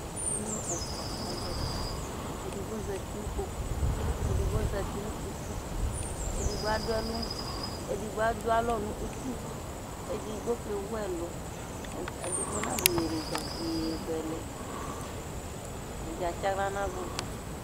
Emlo ɛfua azati Edigbo zati n'ikpoku, edigbo zati nʋ uti, edigbo adualɔ nʋ uti, edigbo kewu ɛlʋ, edigbo na dʋ yeyezɛlɛ, ɛdi ats'aɣla n'agugu